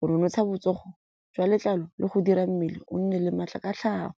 go nonotsha botsogo jwa letlalo le go dira mmele o nne le maatla ka tlhago.